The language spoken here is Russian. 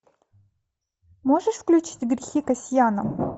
можешь включить грехи кассяна